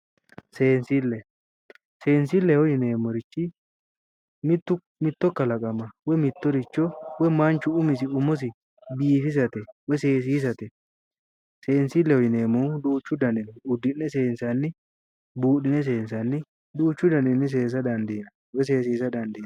Seensile, seensileho yinneemmorichi mitto kalaqama woyi mittoricho woyi manchu umosi biifisate woyi seesisate seensileho yinneemmohu duuchu dannihu noo udi'ne seensani, buudhine seensanni woyi seesisa dandiinanni